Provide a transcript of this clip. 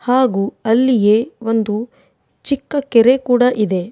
ಹಾಗು ಅಲ್ಲಿಯೇ ಒಂದು ಚಿಕ್ಕ ಕೆರೆಯು ಕೂಡ ಇದೆ.